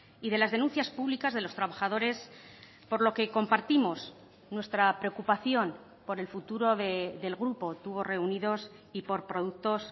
y de las denuncias públicas de los trabajadores por lo que compartimos nuestra preocupación por el futuro del grupo tubos reunidos y por productos